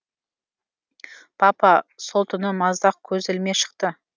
папа сол түні маздақ көз ілмей шықты